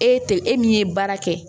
E te e min ye baara kɛ